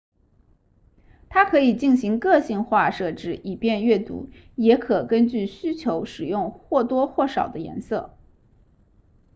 它可以进行个性化设置以便阅读也可根据需求使用或多或少的颜色